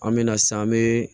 An me na san an be